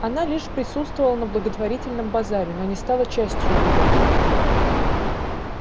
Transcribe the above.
она лишь присутствовала на благотворительном базаре но не стала частью его